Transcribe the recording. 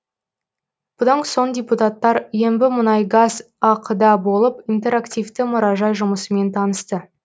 бұдан соң депутаттар ембімұнайгаз ақ да болып интерактивті мұражай жұмысымен танысты